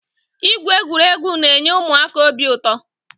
Ịgwụ egwuregwu na-enye ụmụaka obi ụtọ.